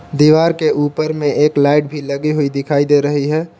दीवार के ऊपर में एक लाइट भी लगी हुई दिखाई दे रही है।